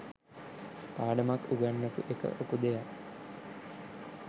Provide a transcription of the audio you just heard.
පාඩමක් උගන්වපු එක ලොකු දෙයක්.